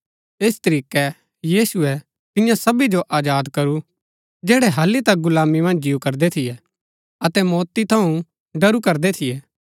ऐस तरीकै यीशुऐ तियां सबी जो आजाद करू जैड़ै हालि तक गुलामी मन्ज जिऊ करदै थियै अतै मौती थऊँ डरू करदै थियै